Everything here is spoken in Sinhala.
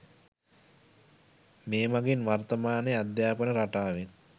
මේ මගින් වර්තමානයේ අධ්‍යාපන රටාවෙන්